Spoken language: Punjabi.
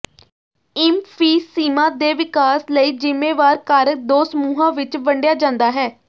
ਇਮਫ਼ੀਸੀਮਾ ਦੇ ਵਿਕਾਸ ਲਈ ਜ਼ਿੰਮੇਵਾਰ ਕਾਰਕ ਦੋ ਸਮੂਹਾਂ ਵਿੱਚ ਵੰਡਿਆ ਜਾਂਦਾ ਹੈ